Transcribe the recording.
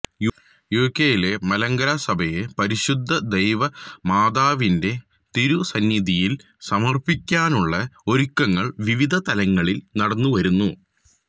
യുകെയിലെ മലങ്കര സഭയെ പരിശുദ്ധ ദൈവ മാതാവിന്റെ തിരു സന്നിധിയില് സമര്പ്പിക്കാനുള്ള ഒരുക്കങ്ങള് വിവിധ തലങ്ങളില് നടന്നു വരുന്നു